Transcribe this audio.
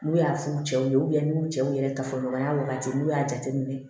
N'u y'a f'u cɛw ye u cɛw yɛrɛ tafɔ ɲɔgɔnya wagati n'u y'a jateminɛ